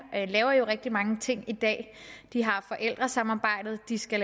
laver jo rigtig mange ting i dag de har forældresamarbejdet de skal